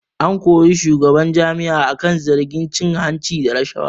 An kori shugaban jami'an akan zargin cin hanci da rashawa